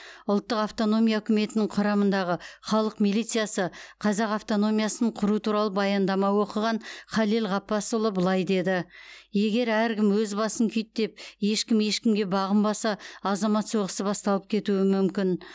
ұлттық автономия үкіметінің құрамындағы халық милициясы қазақ автономиясын құру туралы баяндама оқыған халел ғаббасұлы былай деді егер әркім өз басын күйттеп ешкім ешкімге бағынбаса азамат соғысы басталып кетуі мүмкін